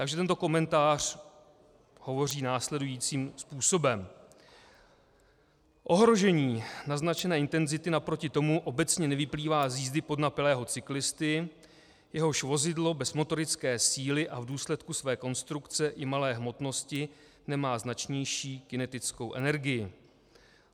Takže tento komentář hovoří následujícím způsobem: "Ohrožení naznačené intenzity naproti tomu obecně nevyplývá z jízdy podnapilého cyklisty, jehož vozidlo bez motorické síly a v důsledku své konstrukce i malé hmotnosti nemá značnější kinetickou energii.